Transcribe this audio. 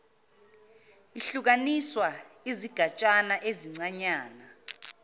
ihlukaniswa izigatshana ezincanyana